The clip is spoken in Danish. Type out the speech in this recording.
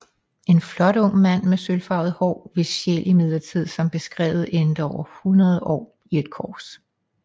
En flot ung mand med sølvfarvet hår hvis sjæl imidlertid som beskrevet endte over hundrede år i et kors